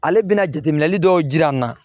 Ale bɛna jateminɛli dɔw jira n na